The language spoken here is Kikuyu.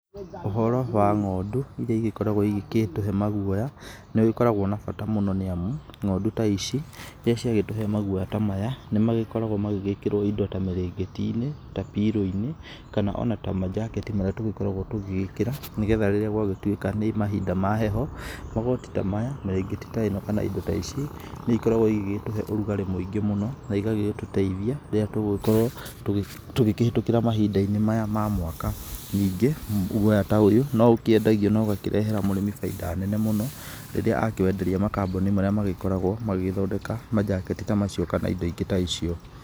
Ũhoro wa ng'ondu iria igĩkoragwo igĩtũhe maguoya nĩ ũgĩkoragwo na bata mũno nĩ amu ng'ondu ta ici rĩrĩa ciagĩtũhre maguoya ta maya. Nĩ magĩkoragwo magĩgĩkĩrwo indo ta mĩrĩngĩti-inĩ ta pillow -inĩ kana ona ta manjaketi maria tũgĩkoragwo tũgĩgĩkĩra. Nĩ getha rĩrĩa gwagĩtuĩka nĩ mahinda ma heho magoti ta maya, mĩrĩngĩti ta ĩno kana indo ta ici nĩ igĩkoragwo igĩgĩtũhe ũrugarĩ mũingĩ mũno. Na igagĩtũteithia rĩrĩa tũgũgĩkorwo tũkĩhĩtũkĩra mahinda-inĩ maya ma mwaka. Ningĩ guoya ta ũyũ no ũkĩendagio na ũgakĩrehera mũrĩmi bainda nene mũno rĩrĩa akĩwenderia makambuni marĩa magĩkoragwo magĩgĩthondeka manjaketi ta macio kana indo ingĩ ta icio.